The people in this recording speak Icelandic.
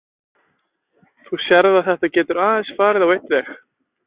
Þú sérð að þetta getur aðeins farið á einn veg.